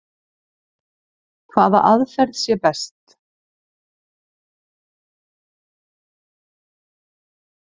Hvaða aðferð sé best.